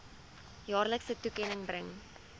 jaarlikse toekenning bring